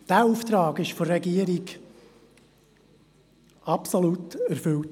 Dieser Auftrag wurde von der Regierung absolut erfüllt.